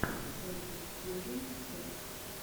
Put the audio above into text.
озгуд филдинг серд